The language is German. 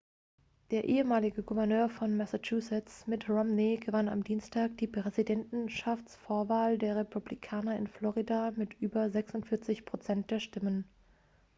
der ehemalige gouverneur von massachusetts mitt romney gewann am dienstag die präsidentschaftsvorwahl der republikaner in florida mit über 46 prozent der stimmen